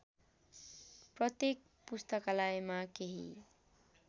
प्रत्येक पुस्तकालयमा केही